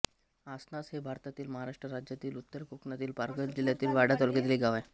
आसनास हे भारतातील महाराष्ट्र राज्यातील उत्तर कोकणातील पालघर जिल्ह्यातील वाडा तालुक्यातील एक गाव आहे